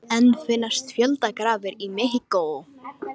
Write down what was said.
Enn finnast fjöldagrafir í Mexíkó